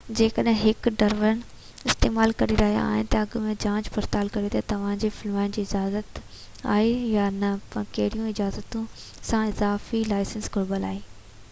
جيڪڏهن هڪ ڊرون استعمال ڪري رهيا آهيو ته اڳ ۾ جاچ پڙتال ڪريو ته توهان کي فلمائڻ جي اجازت آهي يا نه ۽ ڪهڙيون اجازتون يا اضافي لائسنس گهربل آهي